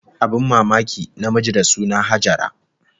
Abin mamaki, namiji da suna Hajara